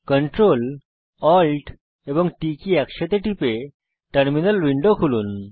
Ctrl Alt এবং T key একসাথে টিপে টার্মিনাল উইন্ডো খুলুন